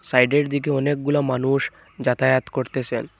সাইডের দিকে অনেকগুলো মানুষ যাতায়াত করতেসেন ।